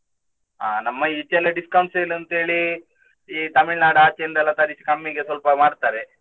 ಆ ನಮ್ಮ ಈಚೆಯೆಲ್ಲಾ discount sale ಅಂತ ಹೇಳಿ Tamil Nadu ಆಚೆಯಿಂದ ಎಲ್ಲಾ ತರಿಸ್ತಾರೆ ಕಮ್ಮಿಗೆ ಸ್ವಲ್ಪ ಮಾರ್ತಾರೆ.